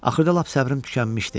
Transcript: Axırda lap səbrim tükənmişdi.